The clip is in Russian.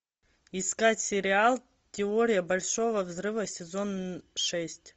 искать сериал теория большого взрыва сезон шесть